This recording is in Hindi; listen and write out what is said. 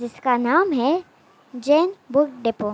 जिसका नाम है जैन बुक डिपो।